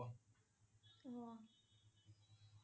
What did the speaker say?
অ'